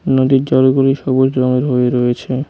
নদীর জলগুলি সবুজ রঙের হয়ে রয়েছে